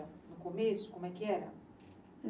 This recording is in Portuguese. No começo, como é que era?